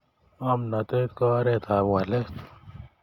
ngomnatet ko oret ap walet